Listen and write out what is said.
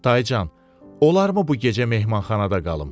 Daycan, olarmı bu gecə mehmanxanada qalım.